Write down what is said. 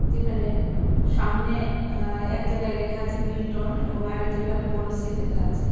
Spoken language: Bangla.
যেখানে সামনে আঃ এক জায়গায় লেখা আছে মিল্টন এবং আরেক জায়গায় বোরোসীল লেখা আছে।